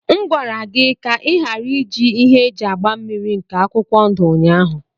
M gwara gị ka ị ghara iji ihe eji agba mmniri nke akwụkwọ ndụ ụnyahụ.